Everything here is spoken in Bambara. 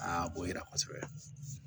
o yera kosɛbɛ